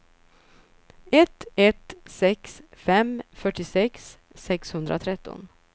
ett ett sex fem fyrtiosex sexhundratretton